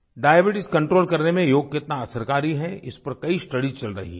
diabetes control करने में योग कितना असरकारी है इस पर कई स्टडीज चल रही हैं